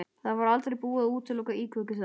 Það var aldrei búið að útiloka íkveikju þar.